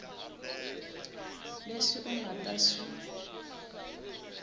leswi u nga ta swi